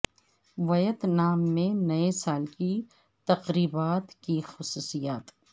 ویت نام میں نئے سال کی تقریبات کی خصوصیات